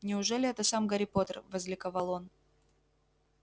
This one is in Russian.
неужели это сам гарри поттер возликовал он